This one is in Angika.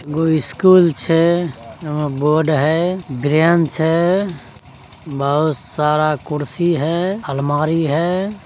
एगो स्कूल छै एमा बोर्ड है बेंच है बहुत सारा कुर्सी है अलमारी है।